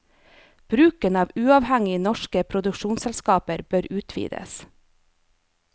Bruken av uavhengige norske produksjonsselskaper bør utvides.